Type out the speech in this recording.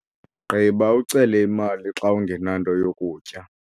gqiba, ucele imali xa ungenanto yokutya